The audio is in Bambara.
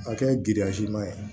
A kɛ giriya siman ye